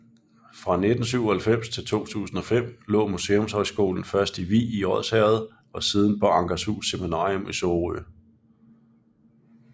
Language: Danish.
Fra 1997 til 2005 lå Museumshøjskolen først i Vig i Odsherred og siden på Ankerhus Seminarium i Sorø